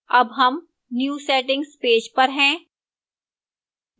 अब हम new settings page पर हैं